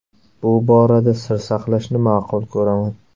Bu borada sir saqlashni ma’qul ko‘raman.